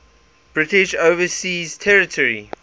british overseas territory